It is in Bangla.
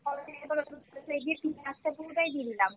গিয়ে ধরো ফুটতেছে আস্তা পুরোটাই দিয়ে দিলাম